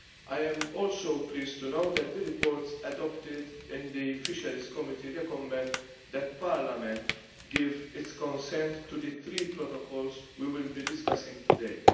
I am also pleased to note that the reports adopted in the Committee on Fisheries recommend that Parliament give its assent to the three protocols we will be discussing today.